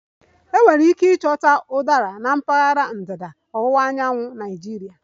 Enwere ike ịchọta Udara na mpaghara ndịda ọwụwa anyanwụ nke Nigeria